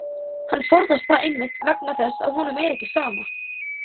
Hann forðast það einmitt vegna þess að honum er ekki sama.